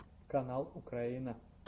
канал украина